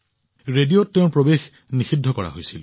ৰেডিঅত তেওঁৰ প্ৰৱেশ নিষিদ্ধ কৰা হৈছিল